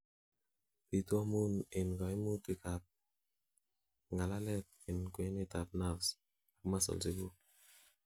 bitu amun en kaimutik ab ngalalet en kwenet ab nerves ak muscles iguk